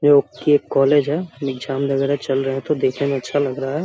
यह एक कॉलेज है एग्जाम वगैरा चल रहा है तो देखने में अच्छा लग रहा है।